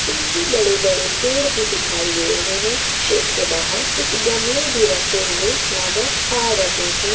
पीछे बड़े बड़े पेड़ दिखाई दे रहे है शेड के बाहर कुछ गमले भी रखे हुए नजर आ रहे है।